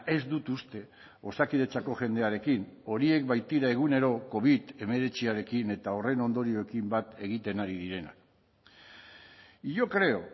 ez dut uste osakidetzako jendearekin horiek baitira egunero covid hemeretziarekin eta horren ondorioekin bat egiten ari direnak y yo creo